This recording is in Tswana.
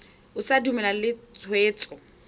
o sa dumalane le tshwetso